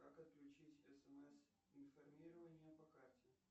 как отключить смс информирование по карте